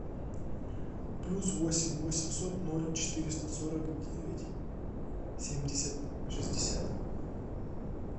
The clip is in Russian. плюс восемь восемьсот ноль четыреста сорок девять семьдесят шестьдесят